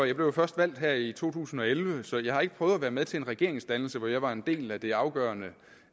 jeg blev jo først valgt her i to tusind og elleve så jeg har ikke prøvet at være med til en regeringsdannelse hvor jeg var en del af det afgørende